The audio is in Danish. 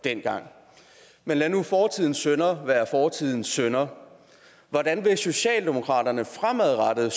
dengang men lad nu fortidens synder være fortidens synder hvordan vil socialdemokratiet fremadrettet